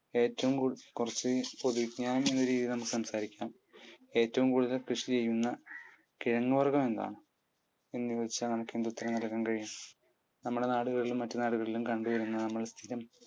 കുറച്ചു പൊതുവിജ്ഞാനം എന്ന രീതിയിൽ നമുക്ക് സംസാരിക്കാം. ഏറ്റവുംകൂടുതൽ കൃഷി ചെയ്യുന്ന കിഴങ്ങു വർഗം എന്താണ്? എന്ന് ചോദിച്ചാൽ നമുക്ക് എന്ത് ഉത്തരം നല്കാൻ കഴിയും? നമ്മുടെ നാടുകളിലും മറ്റു നാടുകളിലും കണ്ടുവരുന്ന